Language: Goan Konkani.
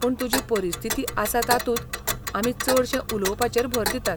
पूण तुजी परिस्थिती आसा तातूंत आमी चडशें उलोवपाचेर भर दितात.